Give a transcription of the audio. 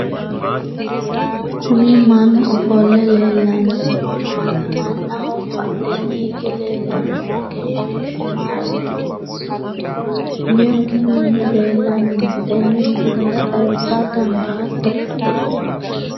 kuni mannu ofo'le leellannohu mamaati? mannaho badheenni hige leellannohu egenshiishshu maa egensiinsoonniho? meu manni leellanni no tenne misilera xawisa dandaatto?